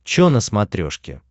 чо на смотрешке